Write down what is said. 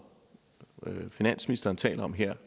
finansministeren taler om her